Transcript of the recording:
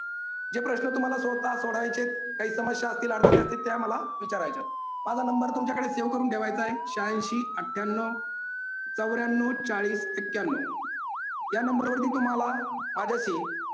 जे प्रश्न तुम्हाला सोडता सोडायचे काही समस्या असतील अडचणी असतील त्या मला विचारायच्यात. माझा नंबर तुमच्याकडे save करून ठेवायचाय शेहाऐंशी अठ्ठयांनाव चोऱ्यांनाव चाळीस एक्क्यांनाव या नंबरवरती तुम्हाला माझ्याशी